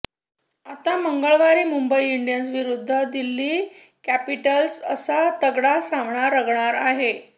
आता मंगळवारी मुंबई इंडियन्स विरुद्ध दिल्ली कॅपिटल्स असा तगडा सामना रंगणार आहे